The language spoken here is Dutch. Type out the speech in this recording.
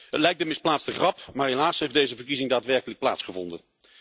Het lijkt een misplaatste grap, maar helaas heeft deze verkiezing daadwerkelijk plaatsgevonden.